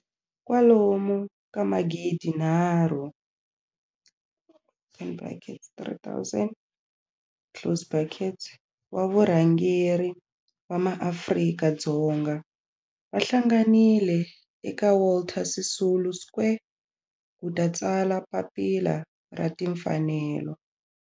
Kwalomu ka magidi nharhu, in brackets 3 000 closed bracket, wa varhangeri va maAfrika-Dzonga va hlanganile eka Walter Sisulu Square ku ta tsala Papila ra Timfanelo.